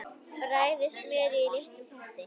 Bræðið smjörið í litlum potti.